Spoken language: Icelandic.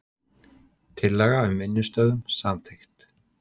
Tillaga um vinnustöðvun samþykkt